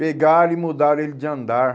Pegaram e mudaram ele de andar.